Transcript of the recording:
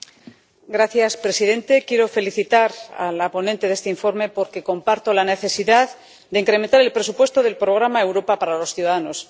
Señor presidente, quiero felicitar a la ponente de este informe porque comparto le necesidad de incrementar el presupuesto del programa Europa para los Ciudadanos.